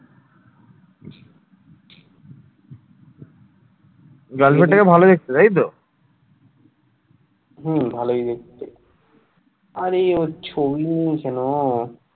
হম ভালোই দেখতে, আরে ওর ছবি নেই কেন?